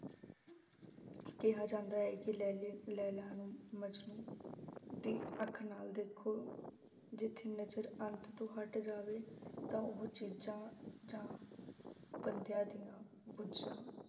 ਕਿਹਾ ਜਾਂਦਾ ਹੈ ਕਿ ਲੈਲੀ ਲੈਲਾ ਨੂੰ ਮਜਨੂੰ ਦੀ ਅੱਖ ਨਾਲ ਦੇਖੋ ਜਿੱਥੇ ਨਜ਼ਰ ਅੰਤ ਤੋਂ ਹਟ ਜਾਵੇ ਤਾਂ ਉਹ ਚੀਜ਼ਾਂ ਜਾਂ ਬੰਦਿਆਂ ਦੀਆਂ ਬੁੱਝਾਂ